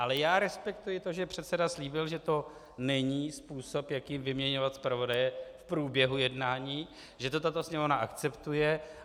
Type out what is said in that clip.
Ale já respektuji to, že předseda slíbil, že to není způsob, jakým vyměňovat zpravodaje v průběhu jednání, že to tato Sněmovna akceptuje.